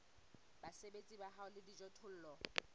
basebeletsi ba hao le dijothollo